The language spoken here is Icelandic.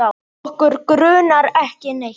Okkur grunar ekki neitt.